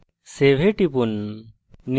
save এ টিপুন